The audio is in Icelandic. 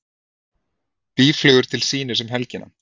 Býflugur til sýnis um helgina